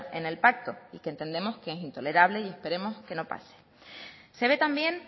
en el pacto y que entendemos que es intolerable y esperemos que no pase se ve también